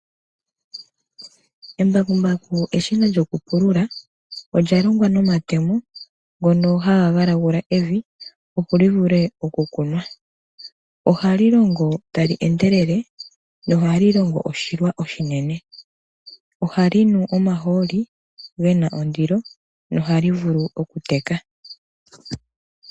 Embakumbaku olyo eshina lyokupulula. Olya longwa nomatemo, ngono haga galagula evi, opo livule okukunwa. Ohali longo tali endelele, nohali longo oshilwa oshinene. Ohali nu omahooli gena ondilo, nohali vulu okuteka.